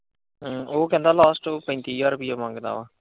ਓ ਕਹਿੰਦਾ last ਪੈਂਤੀ ਹਜ਼ਾਰ ਰੁਪਈਆ ਮੰਗਦਾ ਆ।